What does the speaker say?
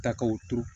Ta k'o turu